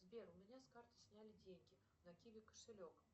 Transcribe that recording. сбер у меня с карты сняли деньги на киви кошелек